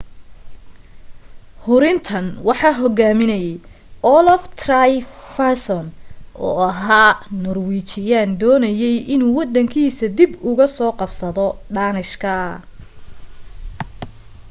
hurintan waxaa hogaaminayay olaf trygvasson oo ahaa noorwiijiyaan doonayay inuu waddankiisa dib uga soo qabsado dhaanishka